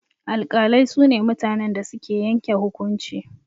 Alƙalai su ne mutanen da suke yanke hukunci.